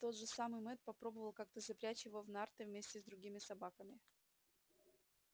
тот же самый мэтт попробовал как-то запрячь его в нарты вместе с другими собаками